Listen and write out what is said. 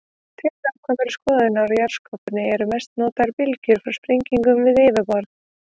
Til nákvæmari skoðunar á jarðskorpunni eru mest notaðar bylgjur frá sprengingum við yfirborð.